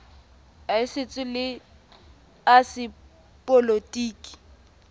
a setso le a sepolotiki